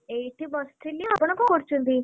ଏଇଠି ବସିଥିଲି ଆପଣ କଣ କରୁଛନ୍ତି?